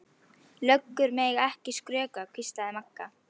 Löggur mega ekki skrökva, hvíslaði Magga.